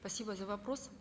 спасибо за вопрос